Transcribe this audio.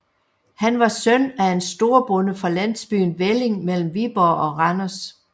Han var søn af en storbonde fra landsbyen Velling mellem Viborg og Randers